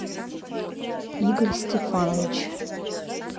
игорь стефанович